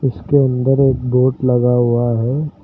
उसके अंदर एक बोर्ड लगा हुआ है।